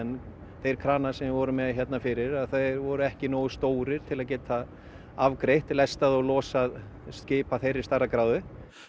þeir kranar sem við vorum með fyrir voru ekki nógu stórir til að geta afgreitt lestað og losað skip af þeirri stærðargráðu